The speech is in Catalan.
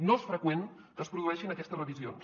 no és freqüent que es produeixin aquestes revisions